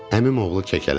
Əmim oğlu kəkələdi.